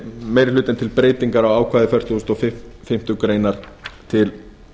meiri hlutinn til breytingar á ákvæðum fertugasta og fimmtu grein til